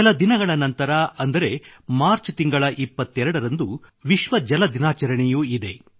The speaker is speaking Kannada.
ಕೆಲ ದಿನಗಳ ನಂತರ ಇದೇ ಮಾರ್ಚ್ ತಿಂಗಳ 22 ರಂದು ವಿಶ್ವ ಜಲ ದಿನಾಚರಣೆಯೂ ಇದೆ